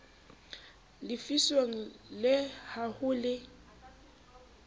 lefiswang le ha ho le